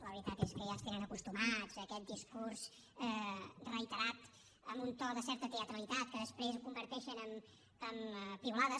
la veritat és que ja ens tenen acostumats a aquest discurs reiterat amb un to de certa teatralitat que després converteixen en piulades